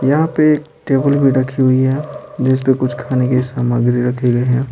यहाँ पे एक टेबल भी रखी हुई है जिस पर कुछ खाने की सामग्री रखी गई है।